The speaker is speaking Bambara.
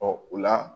o la